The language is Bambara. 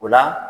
O la